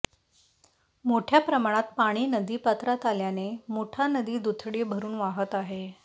मोठ्या प्रमाणात पाणी नदीपात्रात आल्याने मुठा नदी दुथडी भरून वाहत आहे